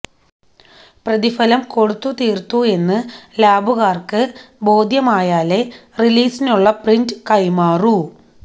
പ്രതിഫലം കൊടുത്തു തീർത്തു എന്ന് ലാബുകാർക്ക് ബോധ്യമായാലേ റിലീസിനുള്ള പ്രിന്റ് കൈമാറൂ